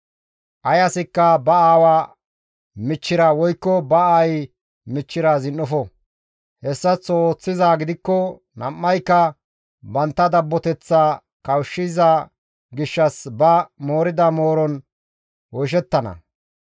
« ‹Ay asikka ba aawa michchira woykko ba aayi michchira zin7ofo; hessaththo ooththizaa gidikko nam7ayka bantta dabboteththa kawushshiza gishshas ba moorida mooron oyshettana.